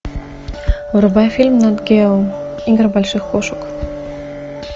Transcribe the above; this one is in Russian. врубай фильм нат гео игры больших кошек